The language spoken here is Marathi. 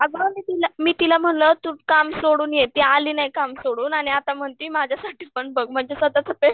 अगं मी तिला मी तिला म्हणलं तू काम सोडून ये ती आली नाही काम सोडून आणि आता म्हणती माझ्यासाठी पण बघ म्हणजे